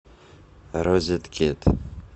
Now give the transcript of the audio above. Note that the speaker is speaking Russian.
розеткед